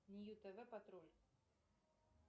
нью тв патруль